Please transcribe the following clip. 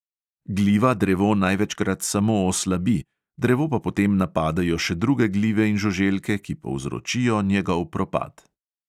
Gliva drevo največkrat samo oslabi, drevo pa potem napadejo še druge glive in žuželke, ki povzročijo njegov propad.